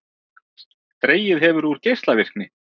Dregið hefur úr geislavirkni